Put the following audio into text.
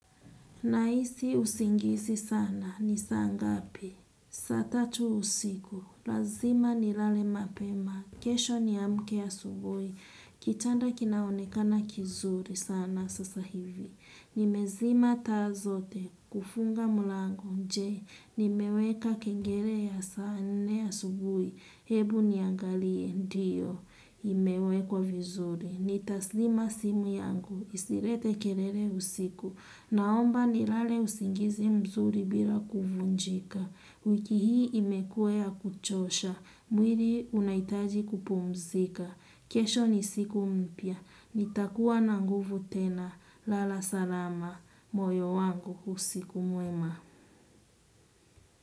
Nahisi usingizi sana, ni saa ngapi? Saa tatu usiku, lazima nilale mapema, kesho niamke asubuhi, kitanda kinaonekana kizuri sana sasa hivi. Nimezima taa zote, kufunga mlango. Je, nimeweka kengele ya saa nne asubuhi? Hebu niangalie. Ndio, imewekwa vizuri. Nitazima simu yangu. Isilete kelele usiku. Naomba nilale usingizi mzuri bila kuvunjika. Wiki hii imekuwa ya kuchosha. Mwili unahitaji kupumzika. Kesho ni siku mpya. Nitakuwa na nguvu tena. Lala salama. Moyo wangu, usiku mwema.